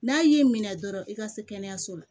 N'a y'i minɛ dɔrɔn i ka se kɛnɛyaso la